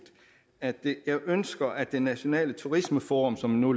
at jeg ønsker at det nationale turismeforum som nu